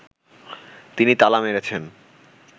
তিনি তালা মেরেছেন